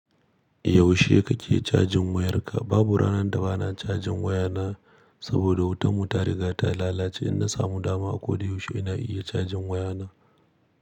Yaushe kake cajin wayarka? Babu ranar da bana cajin wayana, saboda wutan mu ta riga ta lalace. In na samu dama a ko da yaushe ina iya cajin wayana.